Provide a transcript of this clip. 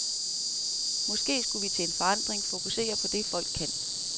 Måske skulle vi til en forandring fokusere på det, folk kan.